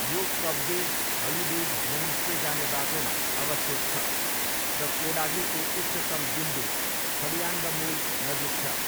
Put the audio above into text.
यो Kabbe holidays homestay जाने बाटोमा अवस्थित छ र कोडागूको उच्चतम बिन्दु थडियान्डमोल नजिक छ।